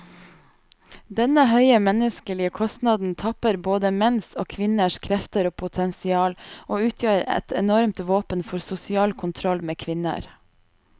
Denne høye menneskelige kostnaden tapper både menns og kvinners krefter og potensial, og utgjør et enormt våpen for sosial kontroll med kvinner.